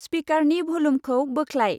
स्पिकारनि भलुमखौ बोख्लाय।